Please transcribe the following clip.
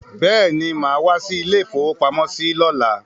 Bẹ́ẹ̀ni, màá wá sí ilé-ìfowópamọ́sí lọ́la.